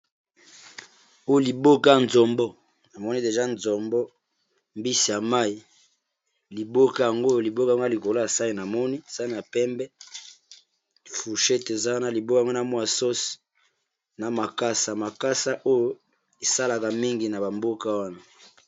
Liboke ya zombo namoni deja nzombo mbisi ya mai, liboke yango oyo liboka ona likolo ya sani namoni sani ya pembe, fourchete ezana liboka ya mwasi na makasa, makasa oyo esalaka mingi na bamboka wana.